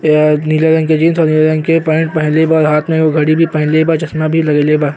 या नीला रंग के जीन्स और नीला रंग के पेण्ट पहिनले बा और हाथ में घडी भी पहिनले बा। चश्मा भी लगइले बा।